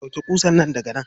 Ɗauke ƙusan nan daga nan.